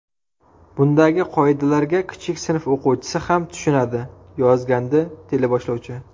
Bundagi qoidalarga kichik sinf o‘quvchisi ham tushunadi”, yozgandi teleboshlovchi.